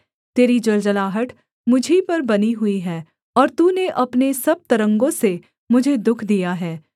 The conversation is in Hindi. तेरी जलजलाहट मुझी पर बनी हुई है और तूने अपने सब तरंगों से मुझे दुःख दिया है सेला